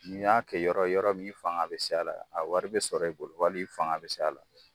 N'i y'a kɛ yɔrɔ yɔrɔ min i fanga bɛ s'a la a wari bɛ sɔrɔ i bolo wali i fanga bɛ s'a la.